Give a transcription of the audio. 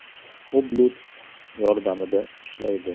U Bluetooth yordamida ishlaydi.